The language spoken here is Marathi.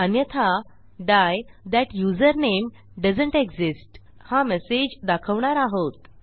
अन्यथा डाई थाट युझरनेम दोएसंत एक्सिस्ट हा मेसेज दाखवणार आहोत